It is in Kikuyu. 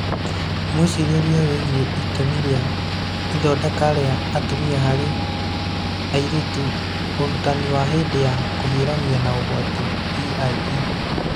Mwĩcirĩrie wĩgiĩ itemi rĩa ithondeka ria atumia harĩ airĩtu Ũrutani wa hĩndĩ ya kũhiũrania na ũgwati (EiE)